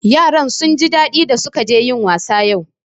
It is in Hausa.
Yaran sun ji daɗi da su ka je yin wasa yau